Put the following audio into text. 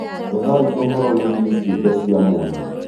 Ethai ũhoro wĩgiĩ ciũmbe cia mwanya.